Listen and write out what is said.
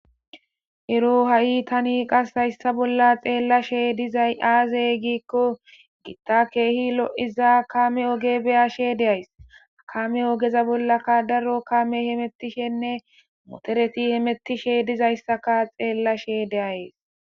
Ero ha'i tani qasi hayssa bolla xeellashe dizay aazey giikko gitta keehi lo'iza kame oge beyashe de'ays kame ogeza bollaka daro kame hemettishenne motereti hemettishe dizayssaka xeellashe de'ayes